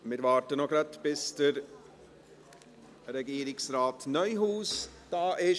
Wir warten noch gerade, bis Regierungsrat Neuhaus da ist.